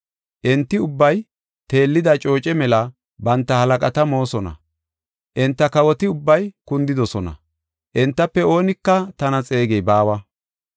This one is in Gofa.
Enti ubbay teellida cooce mela banta halaqata moosona. Enta kawoti ubbay kundidosona; entafe oonika tana xeegey baawa.